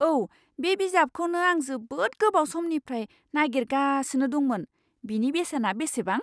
औ! बे बिजाबखौनो आं जोबोद गोबाव समनिफ्राय नागिरगासिनो दंमोन! बेनि बेसेना बेसेबां?